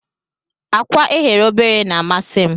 Akwa eghe obere na amasim.